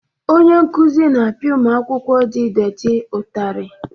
Onye nkuzi na-apịa ụmụ akwụ-kwọ di détị ụtarị